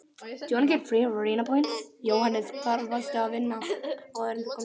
Jóhannes: Hvar varstu að vinna áður en þú komst hingað?